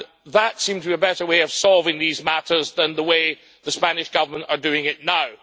That seemed to be a better way of solving these matters than the way the Spanish Government is doing it now.